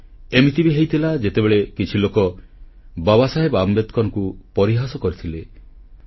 ହଁ ଏମିତି ବି ହୋଇଥିଲା ସେତେବେଳେ କିଛି ଲୋକ ବାବାସାହେବ ଆମ୍ବେଦକରଙ୍କୁ ପରିହାସ କରିଥିଲେ